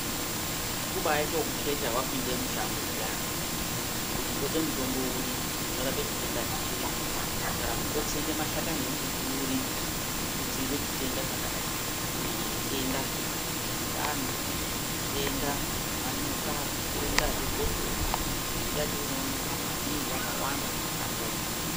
Kubaite ekukheta wapinde mushango zviyana, kuti ndode mutombo uri, unorape chitenda chiri ,kana kuti ndotsenge mashakani emumbuti uri, kuti ndidziirire chitenda chakadai, kunyanya zvitenda zvemundani , zvitenda zvemanyoka, zvitenda zvegotsorwa. Mimbiti yacho inoonekwa maningi yakawanda mumashangomwo.